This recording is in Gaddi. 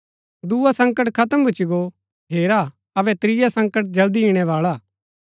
दुआ संकट खत्म भूच्ची गो हेरा अबै त्रिया संकट जल्दी इणैवाळा हा